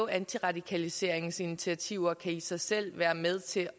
antiradikaliseringsinitiativer kan i sig selv være med til